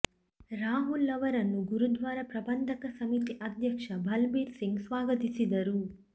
ರಾಹುಲ್ ಅವರನ್ನು ಗುರುದ್ವಾರ ಪ್ರಬಂಧಕ ಸಮಿತಿ ಅಧ್ಯಕ್ಷ ಬಲಬೀರ್ ಸಿಂಗ್ ಸ್ವಾಗತಿಸಿದರು